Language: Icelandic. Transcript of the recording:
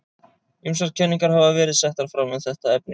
Ýmsar kenningar hafa verið settar fram um þetta efni.